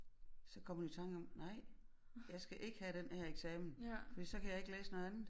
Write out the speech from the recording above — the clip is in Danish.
Så kom hun i tanke om nej jeg skal ikke have den her eksamen fordi så kan jeg ikke læse noget andet